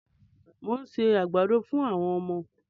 Mo ń se àgbàdo fún àwọm ọmọ.